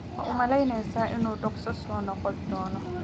Ma u malaynaysaa inuu dhakhso u soo noqon doono?